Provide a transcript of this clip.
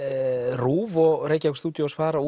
RÚV og Reykjavík studios fara